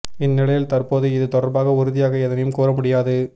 இந்நிலையில் தற்போது இது தொடர்பாக உறுதியாக எதனையும் கூற முடியாது